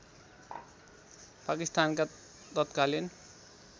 पाकिस्तानका तत्कालीन